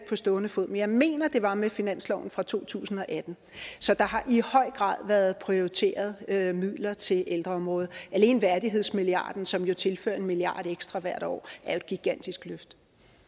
på stående fod men jeg mener at det var med finansloven for to tusind og atten så der har i høj grad været prioriteret midler til ældreområdet alene værdighedsmilliarden som jo tilfører en milliard kroner ekstra hvert år er et gigantisk løft